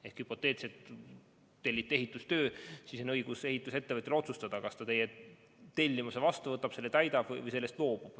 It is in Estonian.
Ehk hüpoteetiliselt: kui telliti ehitustöö, siis on ehitusettevõtjal õigus otsustada, kas ta võtab teie tellimuse vastu ja täidab selle või loobub sellest.